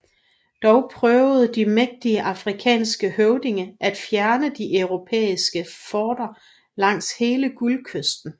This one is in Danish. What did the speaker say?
Dog prøvede de mægtige afrikanske høvdinger at fjerne de europæiske forter langs hele Guldkysten